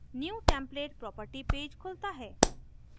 new template property page खुलता है